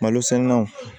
Malosɛnɛnaw